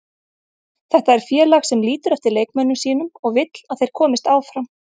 Þetta er félag sem lítur eftir leikmönnum sínum og vill að þeir komist áfram.